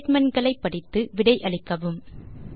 statement களை படித்து விடை அளிக்கவும்